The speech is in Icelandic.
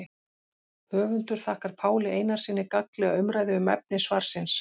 Höfundur þakkar Páli Einarssyni gagnlega umræðu um efni svarsins.